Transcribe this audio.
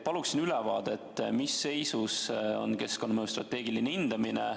Paluksingi ülevaadet, mis seisus on keskkonnamõju strateegiline hindamine.